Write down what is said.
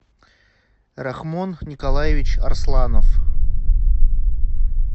рахмон николаевич арсланов